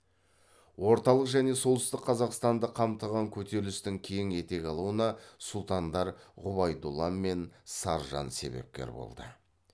орталық және солтүстік қазақстанды қамтыған көтерілістің кең етек алуына сұлтандар ғұбайдолла мен саржан себепкер болды